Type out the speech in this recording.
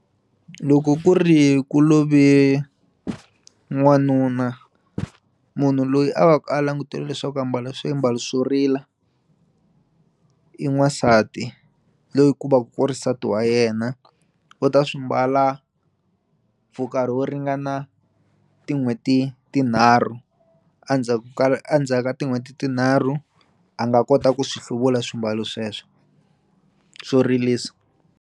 Loko ku ri ku love n'wanuna munhu loyi a va ku a languteliwe leswaku a mbala swiambalo swo rila i n'wasati loyi ku va ku ri nsati wa yena u ta swi mbala for nkarhi wo ringana tin'hweti tinharhu a ndzhaku ka a ndzhaku ka tin'hweti tinharhu a nga kota ku swi hluvula swiambalo sweswo swo rilisa.